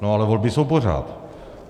No ale volby jsou pořád.